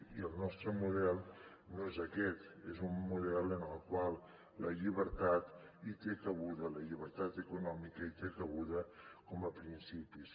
i el nostre model no és aquest és un model en el qual la llibertat hi té cabuda la llibertat econòmica hi té cabuda com a principis